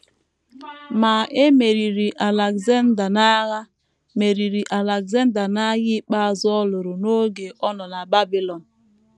Ma e meriri Alexander n’agha meriri Alexander n’agha ikpeazụ ọ lụrụ n’oge ọ nọ na Babilọn.